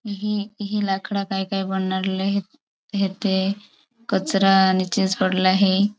हे हे लाकड़ा काई काई बणनार ला हेते कचरा नीचेज पड़ला हे.